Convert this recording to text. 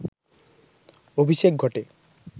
অভিষেক ঘটে